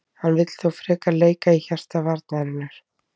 Hann vill þó frekar leika í hjarta varnarinnar.